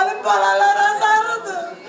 Onun balaları azdırıb.